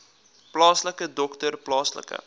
plaaslike dokter plaaslike